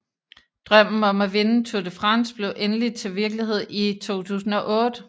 Drømmen om at vinde Tour De France blev endelig til virkelighed i 2008